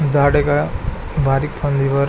झाड एका बारीक फांदी वर --